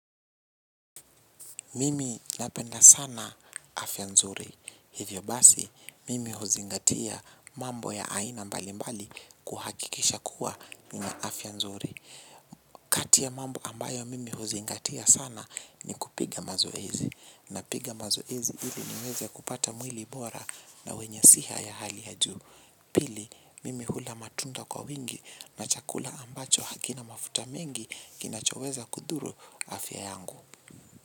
Mimi napenda sana afya nzuri hivyo basi mimi huzingatia mambo ya aina mbali mbali kuhakikisha kuwa nina afya nzuri kati ya mambo ambayo mimi huzingatia sana ni kupiga mazoezi na piga mazoezi ili niweze kupata mwili bora na wenye siha ya hali ya juu pili mimi hula matunda kwa wingi na chakula ambacho hakina mafuta mengi kinachoweza kudhuru afya yangu.